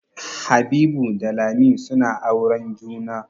Habibu da Lami suna auren juna.